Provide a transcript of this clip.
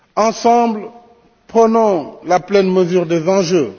Ensemble, prenons la pleine mesure des enjeux.